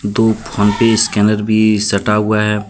दो PhonePe scanner भी सटा हुआ है।